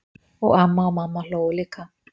Og amma og mamma hlógu líka.